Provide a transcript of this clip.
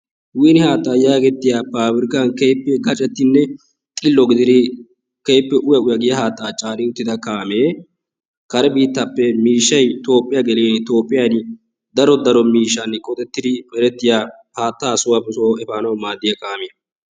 fiqire haataa getettiya paabirkkkan gacettidi kehippe uyettida haataa caanida kaamee kare biittaappe miishshay toophiyan dara sohuwa erettiya haataa efaanawu maadiya kaamiya.